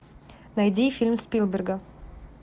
найди фильм спилберга